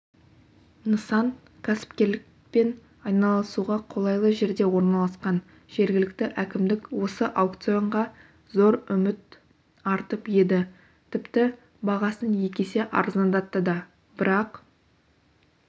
нысан кәсіпкерлікпен айналысуға қолайлы жерде орналасқан жергілікті әкімдік осы аукционға зор үмір артып еді тіпті бағасын екі есе арзандатты да бірақ